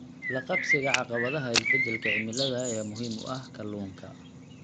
La qabsiga caqabadaha isbeddelka cimilada ayaa muhiim u ah kalluunka.